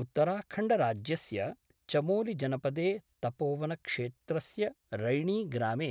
उत्तराखंडराज्यस्य चमोलिजनपदे तपोवनक्षेत्रस्य रैणीग्रामे